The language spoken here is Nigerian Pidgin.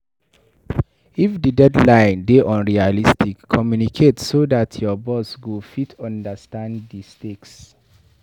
If di deadline dey unrealistic, communicate so dat your boss go fit understand di stakes